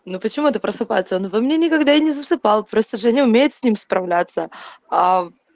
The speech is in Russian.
ну почему это просыпается во мне он никогда не засыпал просто женя умеет с ним справляться